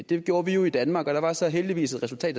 det gjorde vi jo i danmark og der var så heldigvis et resultat